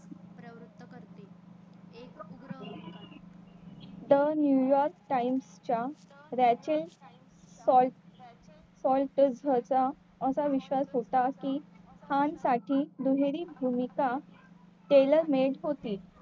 The new york times च्या असा विश्वास होता की खान साठी दुहेरी भूमिका केल्याने होती